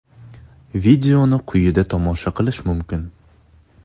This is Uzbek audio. Videoni quyida tomosha qilish mumkin.